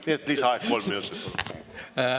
Nii et lisaaeg kolm minutit, palun!